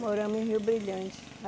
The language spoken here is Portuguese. Moramos em Rio Brilhante.